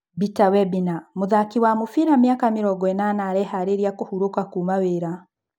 Bita Webina: Mũthaki wa mũbĩra wa mĩaka mĩrongoĩnana areharĩria kũhurũka kuuma wĩra.